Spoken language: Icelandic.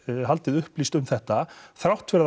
haldið upplýstri um þetta þrátt fyrir